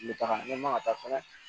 N bɛ taga n ma ka taa fɛnɛ